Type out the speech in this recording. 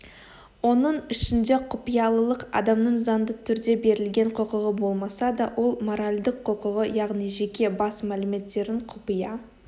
оның ішінде құпиялылық адамның заңды түрде берілген құқығы болмаса да ол моральдық құқығы яғни жеке бас мәліметтерін құпия